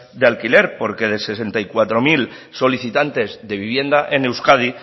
de alquiler porque de sesenta y cuatro mil solicitantes de vivienda en euskadi